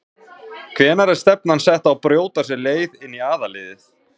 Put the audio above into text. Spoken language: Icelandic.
Hvenær er stefnan sett á að brjóta sér leið inn í aðalliðið?